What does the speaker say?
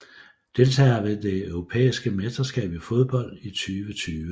Deltagere ved det europæiske mesterskab i fodbold 2020